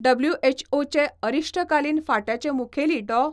डबल्युएचओचे अरिश्टकालीन फांट्याचे मुखेली डॉ.